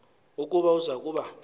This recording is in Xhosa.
ukuba uza kuba